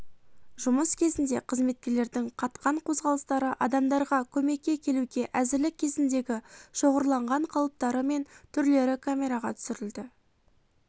жұмыс кезіндегі қызметкерлердің қатқан қозғалыстары адамдарға көмекке келуге әзірлік кезіндегі шоғырланған қалыптары мен түрлері камераға түсірілді